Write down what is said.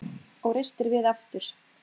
Og reistir við aftur.